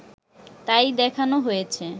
তাই দেখানো হয়েছে